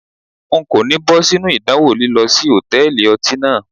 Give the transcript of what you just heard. N kò ní bọ́ sínú idanwo lílọ sí Hòtẹ́lìì ọtí náà.